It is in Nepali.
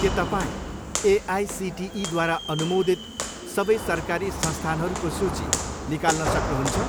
के तपाईँँ एआइसिटिईद्वारा अनुमोदित सबै सरकारी संस्थानहरूको सूची निकाल्न सक्नुहुन्छ?